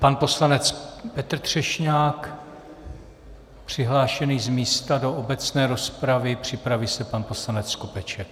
Pan poslanec Petr Třešňák přihlášený z místa do obecné rozpravy, připraví se pan poslanec Skopeček.